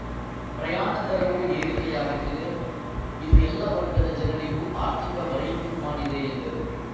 ಪ್ರಯಾಣ ದರವೂ ಏರಿಕೆಯಾಗುತ್ತಿದೆ ಇದು ಎಲ್ಲ ವರ್ಗದ ಜನರಿಗೂ ಆರ್ಥಿಕ ಹೊರೆಯುಂಟು ಮಾಡಿದೆ ಎಂದರು